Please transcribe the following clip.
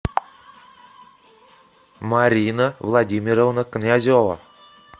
марина владимировна князева